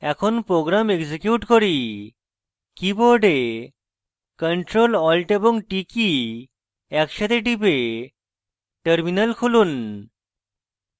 এখন program execute করি keyboard ctrl alt এবং t কী একসাথে টিপে terminal খুলুন